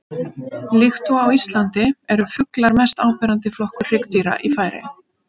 Líkt og á Íslandi eru fuglar mest áberandi flokkur hryggdýra í Færeyjum.